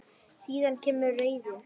Síðan kemur reiðin.